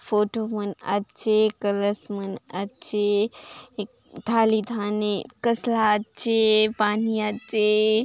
फोटो मन आचे कलश मन आचे थाली थाने कसला आचे पानी आचे।